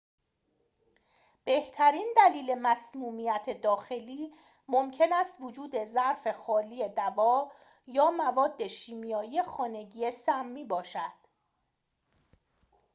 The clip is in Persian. بهترین دلیل مسمومیت داخلی ممکن است وجود ظرف خالی دوا یا مواد شیمیایی خانگی سمی باشد